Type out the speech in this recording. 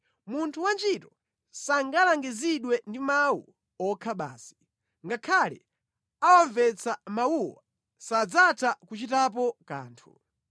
Munthu wantchito sangalangizidwe ndi mawu okha basi; ngakhale awamvetse mawuwo sadzatha kuchitapo kanthu.